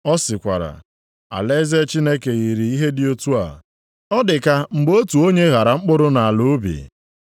Ọ sịkwara, “Alaeze Chineke yiri ihe dị otu a. Ọ dịka mgbe otu onye ghara mkpụrụ nʼala ubi.